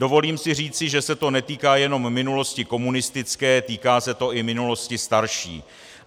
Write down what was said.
Dovolím si říci, že se to netýká jenom minulosti komunistické, týká se to i minulosti starší.